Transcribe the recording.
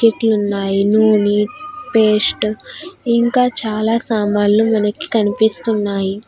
ఇట్లు ఉన్నాయి నుని పేస్ట్ ఇంకా చాలా సామాన్లు మనకి కనిపిస్తున్నాయి